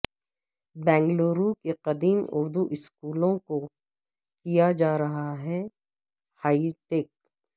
بنگلورو کے قدیم اردو اسکولوں کو کیا جارہا ہے ہائی ٹیک